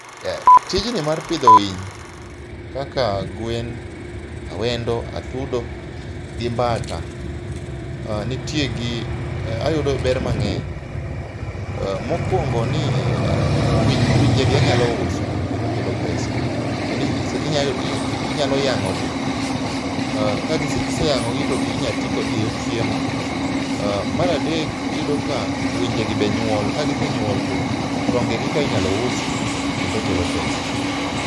Tijni mar pidho winy kaka gwen, awendo atudo gi mbata nitie gi ayudo ber mang'eny. Mokuongo ni winje gi anyalo uso kendo kelo pesa. Kendo inyalo yang'o gi, kiseyang'ogi to inyalo ti kodgi e yor chiemo. Mar adek iyudo ka winjegi be nyuol kagisenyuol to tongegika inyalo usi kendo kelo pesa